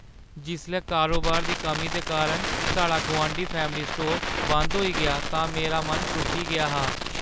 जिसलै कारोबार दी कमी दे कारण साढ़ा गुआंढी फैमली स्टोर बंद होई गेआ तां मेरा मन त्रुट्टी गेआ हा।